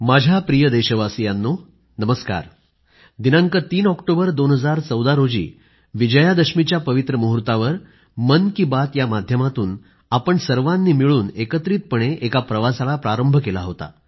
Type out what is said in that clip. माझ्या प्रिय देशवासियांनो नमस्कार दिनांक 3 ऑक्टोबर 2014 रोजी विजयादशमीच्या पवित्र मुहूर्तावर मन की बात या माध्यमातून आपण सर्वांनी मिळून एकत्रितपणे एका प्रवासाला प्रारंभ केला होता